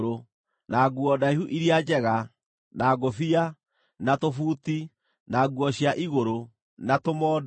na nguo ndaihu iria njega, na ngũbia, na tũbuti, na nguo cia igũrũ, na tũmondo,